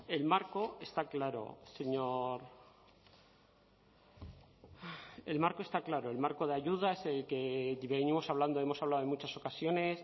el marco está claro señor el marco está claro el marco de ayudas que venimos hablando hemos hablado en muchas ocasiones